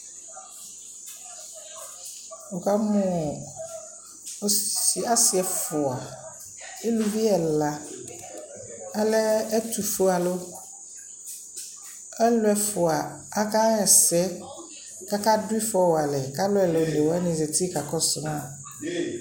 Nikamʋ asι ɛfʋa, eluvi ɛla, alɛ ɛtʋfue alʋ Alʋ ɛfʋa, aka ɣa ɛsɛ, kʋ aka dʋ ιfɔ wa alɛ kʋ alʋ ɛla oone wanι zati kaa kɔsʋ ma